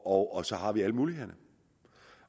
og og så har vi alle mulighederne